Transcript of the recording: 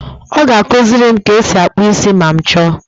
Ọ ga-akụziri m ka e si akpụ isi ma m chọọ.